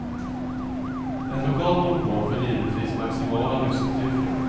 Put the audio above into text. Ett lokalt monopol får givetvis maximala lyssnarsiffror.